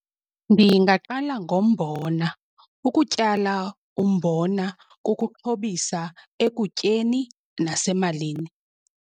Ndingaqala ngombona ukutyala umbona kukuxhobisa ekutyeni nasemalini.